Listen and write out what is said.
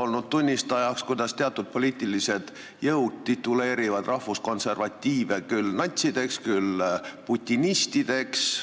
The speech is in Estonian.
olnud tunnistajaks, kuidas teatud poliitilised jõud tituleerivad rahvuskonservatiive küll natsideks, küll putinistideks.